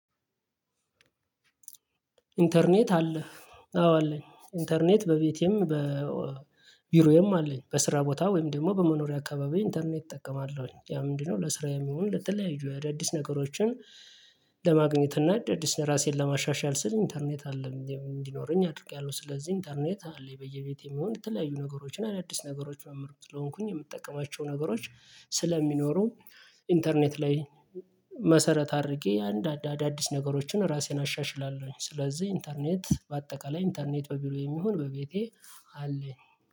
ኢንተርኔት አለ። አዎ አለኝ ኢንተርኔት በቤቴም በቢሮዬም አለኝ በስራ ቦታ ወይም ደግሞ በመኖሪያ አካባቢ ኢንተርኔት እጠቀማለሁኝ ያ ምንድነው ለስራዬም ይሁን ለተለያዩ አደዲስ ነገሮችን። ለማግኘት እና እንደ አዲስ ራሴን ለማሻሻል ስል ኢንተርኔት አለ እንዲኖረኝ አድርጌያለሁ። ስለዚህ ኢንተርኔት አለ በየቤቴ የሚሆን የተለያዩ ነገሮችን አዳዲስ ነገሮች ምማር ስለሆንኩኝ የምጠቀማቸው ነገሮች ስለሚኖሩ። ኢንተርኔት ላይ መሰረት አድርጌ አንድ አዳዲስ ነገሮችን ራሴን አሻሽላለሁኝ። ስለዚህ ኢንተርኔት በአጠቃላይ ኢንተርኔት በቢሮ የሚሆን በቤቴ አለኝ